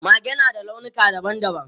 Mage na da launuka dabam dabam.